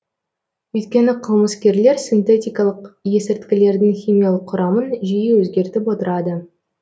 өйткені қылмыскерлер синтетикалық есірткілердің химиялық құрамын жиі өзгертіп отырады